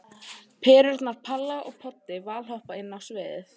Perurnar Palla og Poddi valhoppa inn á sviðið.